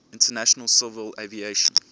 international civil aviation